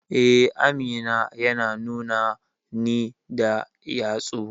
Eh, Aminu yana nuna ni da yatsu.